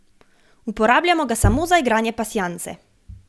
Uporabljamo ga samo za igranje pasjanse.